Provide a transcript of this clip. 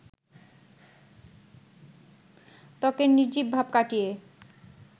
ত্বকের নির্জীব ভাব কাটিয়ে